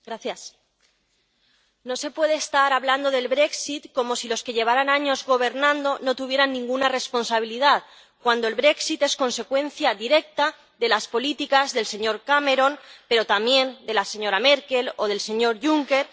Señora presidenta, no se puede estar hablando del como si los que llevaran años gobernando no tuvieran ninguna responsabilidad, cuando el es consecuencia directa de las políticas del señor Cameron, pero también de la señora Merkel o del señor Juncker.